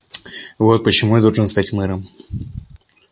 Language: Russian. вот почему я должен стать мэром